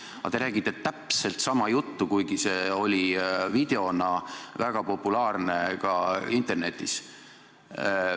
Aga te räägite täpselt sama juttu, kuigi see oli videona väga populaarne ka internetis.